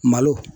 Malo